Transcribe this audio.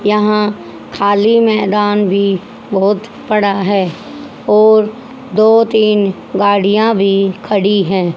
यहां खाली मैदान भी बहुत पड़ा है और दो तीन गाड़ियां भी खड़ी है।